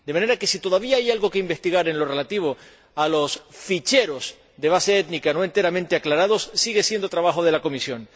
De manera que si todavía hay algo que investigar en lo relativo a los ficheros de base étnica no enteramente aclarados, sigue siendo trabajo de la Comisión.